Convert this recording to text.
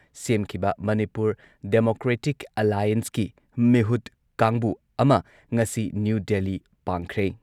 ꯁꯦꯝꯈꯤꯕ ꯃꯅꯤꯄꯨꯔ ꯗꯦꯃꯣꯀ꯭ꯔꯦꯇꯤꯛ ꯑꯂꯥꯏꯟꯁꯀꯤ ꯃꯤꯍꯨꯠ ꯀꯥꯡꯕꯨ ꯑꯃ ꯉꯁꯤ ꯅ꯭ꯌꯨ ꯗꯦꯜꯂꯤ ꯄꯥꯡꯈ꯭ꯔꯦ꯫